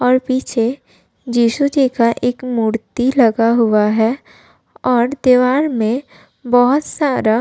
और पीछे जिशु जी का एक मूर्ति लगा हुआ है और दीवार में बोहोत सारा --